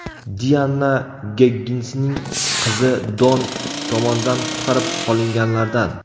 Dianna Gegginsning qizi Don tomonidan qutqarib qolinganlardan.